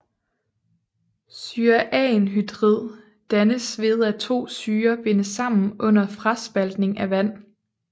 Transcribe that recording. Syreanhydrid dannes ved at to syrer bindes sammen under fraspaltning af vand